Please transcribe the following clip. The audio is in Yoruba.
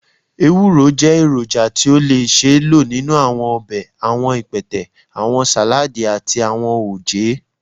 ewuro jẹ eroja ti o le ṣee lo ninu awọn ọbẹ, awọn ipẹtẹ, awọn saladi, ati awọn oje.